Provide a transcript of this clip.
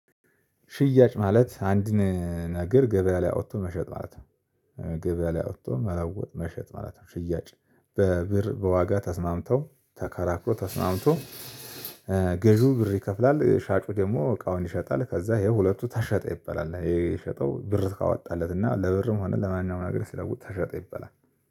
ሽያጭ ማለት አንድን ነገር ገበያ ላይ አውጥቶ መሸጥ ማለት ነው። ገበያ ላይ አውጥቶ መለወጥ መሸጥ ማለት ነው። ሽያጭ በብር በዋጋ ተስማምተው ተከራክሮ ተስማምቶ። ገዢው ብር ይከፍላል ሻጩ ደግሞ እቃውን ይሸጣል። ከዛ ይሄ ሁለቱ ተሸጠ ይባላል። የሸጠው ብር ካወጣለት እና ለብርም ሆነ ለማንኛውም ነገር ሲለውጥ ተሸጠ ይበላል